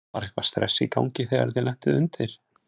Var eitthvað stress í gangi þegar þið lentuð undir?